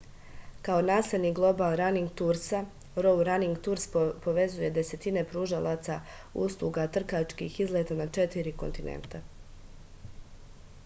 kao naslednik global raning tursa gou raning turs povezuje desetine pružalaca usluga trkačkih izleta na četiri kontinenta